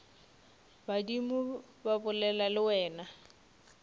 badimo ba bolela le wena